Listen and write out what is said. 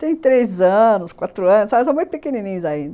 Tem três anos, quatro anos, mas são muito pequenininhos ainda.